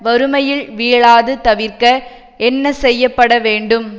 வறுமையில் வீழாது தவிர்க்க என்ன செய்ய படவேண்டும்